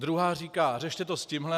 Druhá říká: Řešte to s tímhle.